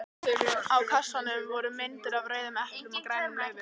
Á kassanum voru myndir af rauðum eplum og grænum laufum.